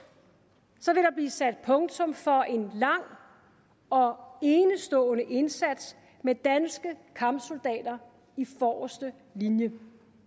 vil sat punktum for en lang og enestående indsats med danske kampsoldater i forreste linje